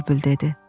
bülbül dedi.